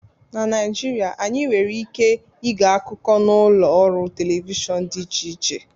Na Naijirịa, anyị nwere ike ịge akụkọ n'ụlọ ọrụ telivishọn dị iche iche